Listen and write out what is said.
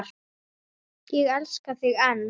Og ég elska þig enn.